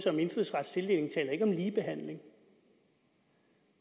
om indfødsrets tildeling taler ikke om ligebehandling